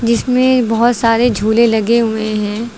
इसमें बहुत सारे झूले लगे हुए हैं।